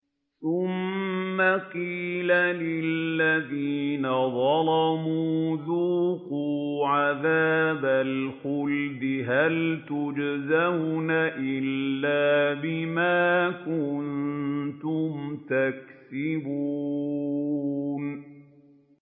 ثُمَّ قِيلَ لِلَّذِينَ ظَلَمُوا ذُوقُوا عَذَابَ الْخُلْدِ هَلْ تُجْزَوْنَ إِلَّا بِمَا كُنتُمْ تَكْسِبُونَ